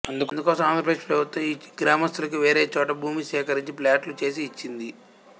అందుకోసం ఆంధ్రప్రదేశ్ ప్రభుత్వం ఈ గ్రామస్తులకి వేరేచోట భూమి సేకరించి ప్లాట్లు చేసి ఇచ్చింది